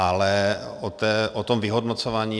Ale o tom vyhodnocování.